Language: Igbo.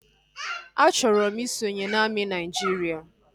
A chọrọ m isonye na amị Naịjiria